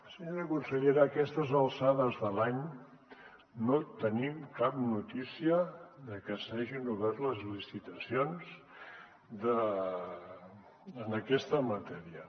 senyora consellera a aquestes alçades de l’any no tenim cap notícia de que s’hagin obert les licitacions en aquesta matèria